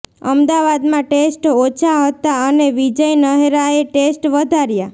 અમદાવાદમાં ટેસ્ટ ઓછા હતા અને વિજય નહેરાએ ટેસ્ટ વધાર્યા